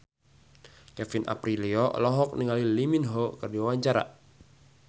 Kevin Aprilio olohok ningali Lee Min Ho keur diwawancara